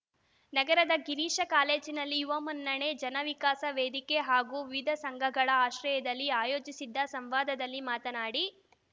ನಗರದ ಗಿರೀಶ ಕಾಲೇಜಿನಲ್ಲಿ ಯುವ ಮುನ್ನಡೆ ಜನವಿಕಾಸ ವೇದಿಕೆ ಹಾಗೂ ವಿವಿಧ ಸಂಘಗಳ ಆಶ್ರಯದಲ್ಲಿ ಆಯೋಜಿಸಿದ್ದ ಸಂವಾದದಲ್ಲಿ ಮಾತನಾಡಿ